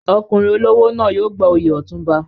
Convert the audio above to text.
Ọkùnrin olówó náà yóò gba oyè Otunba.